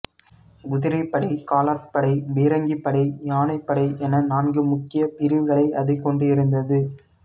குதிரைப்படை காலாட்படை பீரங்கிப்படை யானைப்படை என நான்கு முக்கிய பிரிவுகளை அது கொண்டிருந்தது